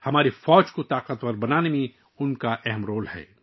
ہماری فوج کو مضبوط بنانے میں ان کا اہم کردار ہے